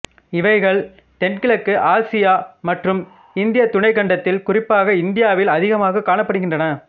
இவைகள் தென்கிழக்கு ஆசியா மற்றும் இந்தியத் துணைக்கண்டத்தில் குறிப்பாக இந்தியாவில் அதிகமாக காணப்படுகின்றன